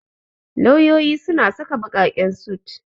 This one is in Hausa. Lauyoyi suna saka ɓaƙaƙen sut.